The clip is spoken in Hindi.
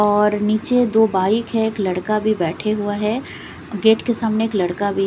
और नीचे दो बाइक है। एक लड़का भी बैठे हुआ है गेट के सामने एक लड़का भी --